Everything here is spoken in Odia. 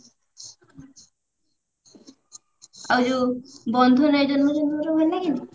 ଆଉ ଯଉ ବନ୍ଧୁ ରାଇଜରେ ଆମର ଭଲ ଲାଗେନି?